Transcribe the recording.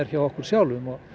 hjá okkur sjálfum og